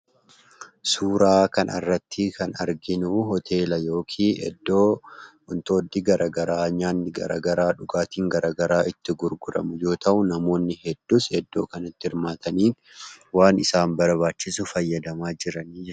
Suuraa kanarratti kan arginuu hoteela yookiin iddoo wantootni gara garaa nyaanni gara garaa dhugaatiin garagaraa itti gurguramu yemmuu ta'u, namoonni hedduunis iddoo kanatti hirmaatanii waan isaan barbaachisu fayyadamaa jiranii jechuudha.